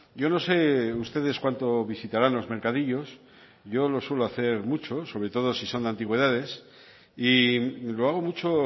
yo no sé ustedes cuánto visitarán los mercadillos yo lo suelo hacer mucho sobre todos si son de antigüedades y lo hago mucho